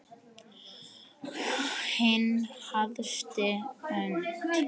Hin æðsta hönd.